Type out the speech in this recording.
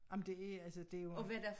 Jamen det altså det jo